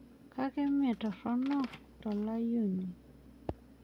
Kake mee torronok tolanyuani.